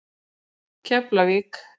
Keflavík